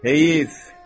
Heyf.